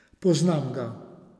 Poznam ga.